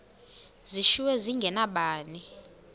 zishiywe zinge nabani